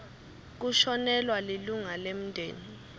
kushonelwa lilunga lemndeni